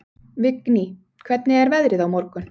Vigný, hvernig er veðrið á morgun?